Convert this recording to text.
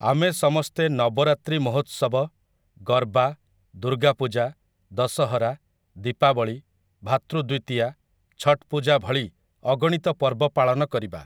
ଆମେ ସମସ୍ତେ ନବରାତ୍ରୀ ମହୋତ୍ସବ, ଗର୍ବା, ଦୂର୍ଗାପୂଜା, ଦଶହରା, ଦୀପାବଳୀ, ଭାତୃ ଦ୍ୱିତୀୟା, ଛଠପୂଜା ଭଳି ଅଗଣିତ ପର୍ବ ପାଳନ କରିବା ।